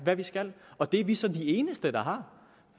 hvad vi skal og det er vi så de eneste der har